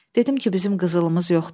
Dedim ki, bizim qızılımız yoxdur.